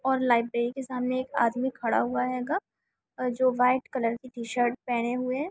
और लाइब्रेरी के सामने एक आदमी खड़ा हुआ है ग जो वाइट कलर की टी शर्ट पहने हुए--